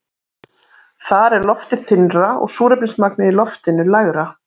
Þar er loftið þynnra og súrefnismagnið í loftinu lægra.